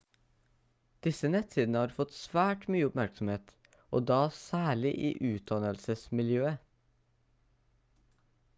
disse nettsidene har fått svært mye oppmerksomhet og da særlig i utdannelsesmiljøet